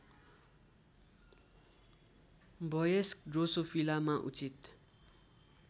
वयस्क ड्रोसोफिलामा उचित